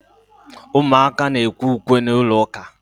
Ụmụaka na-ekwe ukwe n’ụlọụka